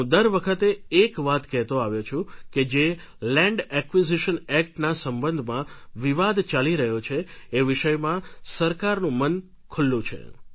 હું દર વખતે એક વાત કહેતો આવ્યો છું કે જે લેન્ડ એક્વિઝિશન એક્ટના સંબંધમાં વિવાદ ચાલી રહ્યો છે એ વિષયમાં સરકારનું મન ખુલ્લું છે